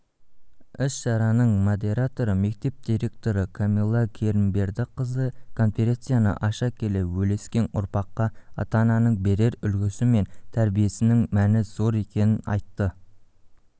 іс-шараның модераторы мектеп директоры кәмилә керімбердіқызы конференцияны аша келе өскелең ұрпаққа ата-ананың берер үлгісі мен тәрбиесінің мәні зор екенін айтты